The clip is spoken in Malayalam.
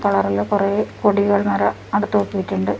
കളറില് കുറേ കൊടികൾ അവിടെ തൂക്കിയിട്ടുണ്ട്.